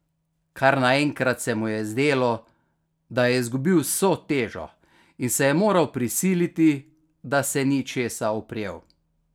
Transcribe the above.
Kar naenkrat se mu je zdelo, da je izgubil vso težo, in se je moral prisiliti, da se ni česa oprijel.